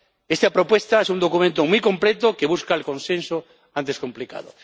Esta propuesta es un documento muy completo que busca el consenso, antes complicado.